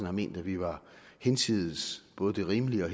har ment at vi var hinsides både det rimelige og